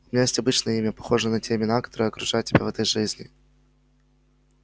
у меня есть обычное имя похожее на те имена которые окружают тебя в этой жизни